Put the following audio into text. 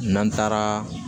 N'an taara